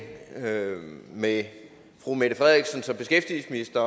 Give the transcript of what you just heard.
med med fru mette frederiksen som beskæftigelsesminister